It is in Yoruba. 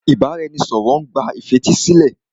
Ìbáraẹnisọ̀rọ̀ má n gba ìfetísílẹ̀.